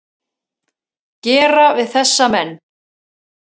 gera við þessa menn?